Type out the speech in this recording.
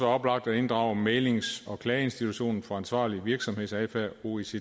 oplagt at inddrage mæglings og klageinstitutionen for ansvarlig virksomhedsadfærd oecds